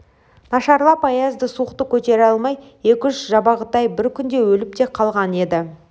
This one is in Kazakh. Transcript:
нашарлап аязды суықты көтере алмай екі-үш жабағытай бір күнде өліп те қалған еді